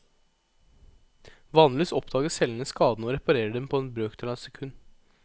Vanligvis oppdager cellene skadene og reparerer dem på en brøkdel av et sekund.